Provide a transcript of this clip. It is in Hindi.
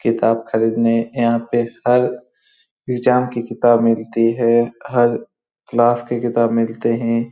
किताब खरीदने यहाँ पे हर किताब मिलती है। हर क्लास की किताब मिलते है।